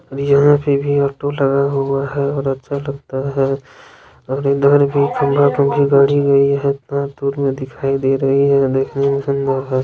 यहाँ पे भी ऑटो लगा हुया हैं और अच्छा लगता है और इधर भी कँगारू की गारी गई हैं एटना डूर मैं दिखाई राही है।